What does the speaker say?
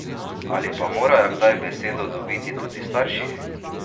Ali pa morajo kdaj besedo dobiti tudi starši?